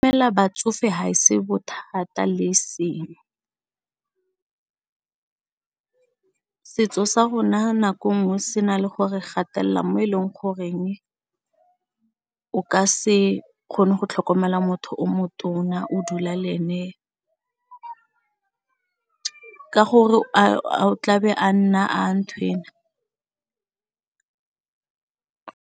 Fela batsofe ha e se bothata le e seng setso sa rona nako nngwe se na le gore gatelela mo e leng goreng o ka se kgone go tlhokomela motho o motona o dula le ene ka gore o tla be a nna ntho ena.